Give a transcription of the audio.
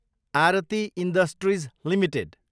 Aarti industries Ltd